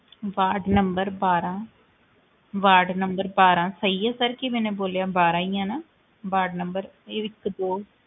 ward number ਬਾਰਾਂ ward number ਬਾਰਾਂ ਸਹੀ ਹੈ sir ਕੀ ਮੈਨੇ ਬੋਲਿਆ ਬਾਰਾਂ ਹੀ ਆ ਨਾ ਵਾਰਡ number ਇਹ ਇੱਕ ਦੋ